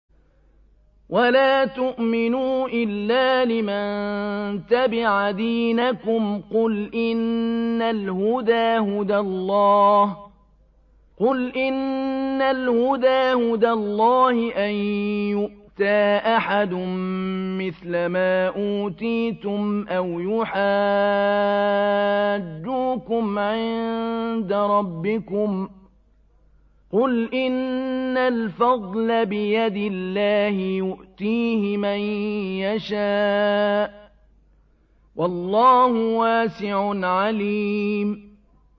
وَلَا تُؤْمِنُوا إِلَّا لِمَن تَبِعَ دِينَكُمْ قُلْ إِنَّ الْهُدَىٰ هُدَى اللَّهِ أَن يُؤْتَىٰ أَحَدٌ مِّثْلَ مَا أُوتِيتُمْ أَوْ يُحَاجُّوكُمْ عِندَ رَبِّكُمْ ۗ قُلْ إِنَّ الْفَضْلَ بِيَدِ اللَّهِ يُؤْتِيهِ مَن يَشَاءُ ۗ وَاللَّهُ وَاسِعٌ عَلِيمٌ